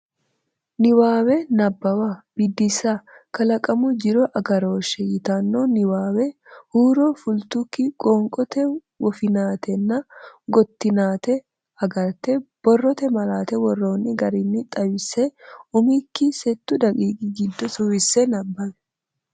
Niwaawe Nabbawa Biddissa “Kalaqamu Jiro Agarooshshe” yitanno niwaawe huuro fultukki qoonqote woffinatenna gottinate agarte, borrote malaatta worroonni garinni xawisse umikki settu daqiiqi giddo suwisse nabbawi.